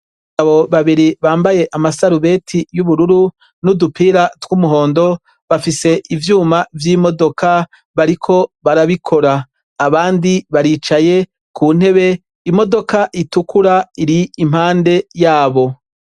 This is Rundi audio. Abagabo babiri bambaye ama sarubeti y'ubururu n'udupira twu muhondo, bafise ivyuma vy'imodoka bariko barabikora. Abandi baricaye ku ntebe, imodoka itukura iri impande yabo.